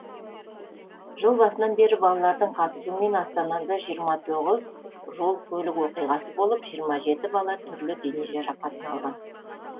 жыл басынан бері балалардың қатысуымен астанада жиырма тоғыз жол көлік оқиғасы болып жиырма жеті бала түрлі дене жарақатын алған